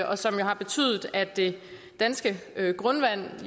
og som jo har betydet at det danske grundvand er